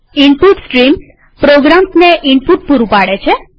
input streams પ્રોગ્રામ્સને input પૂરું પાડે છે